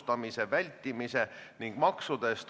Palun esitada oma seisukoht!